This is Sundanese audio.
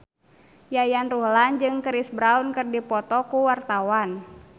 Yayan Ruhlan jeung Chris Brown keur dipoto ku wartawan